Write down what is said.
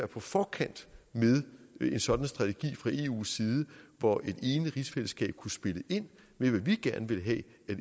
på forkant med en sådan strategi fra eus side hvor et enigt rigsfællesskab kunne spille ind med hvad vi gerne ville have at